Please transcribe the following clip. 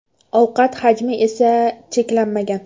Ovqat hajmi esa cheklanmagan.